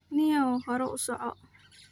Nio hore usoco.